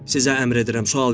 Sizə əmr edirəm, sual verin!